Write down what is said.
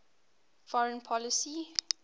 foreign policy